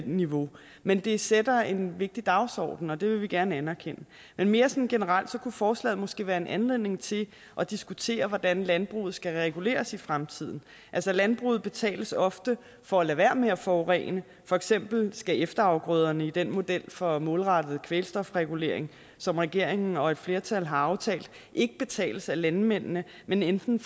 niveau men det sætter en vigtig dagsorden og det vil vi gerne anerkende men mere sådan generelt kunne forslaget måske være en anledning til at diskutere hvordan landbruget skal reguleres i fremtiden altså landbruget betales ofte for at lade være med at forurene for eksempel skal efterafgrøderne i den model for målrettet kvælstofregulering som regeringen og et flertal har aftalt ikke betales af landmændene men enten